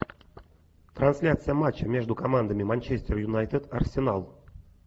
трансляция матча между командами манчестер юнайтед арсенал